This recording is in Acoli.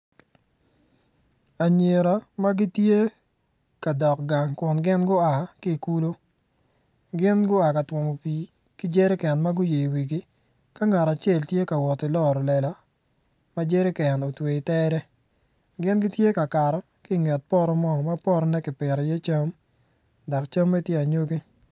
Anyira ma gitye ka dok gang kun gin gua ki i kulu gin gua ki ka twomo pii ki jerican ma guyeyo i wigi ka ngat acel tye ka wot ki loro lela ma jerican otweyo i tere.